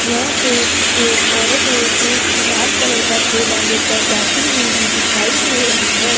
यहां पे एक औरत है जो की लाल कलर का थैला लेकर जाती हुई भी दिखाई दे रही है।